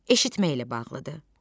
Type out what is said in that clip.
Eşitməklə bağlıdır.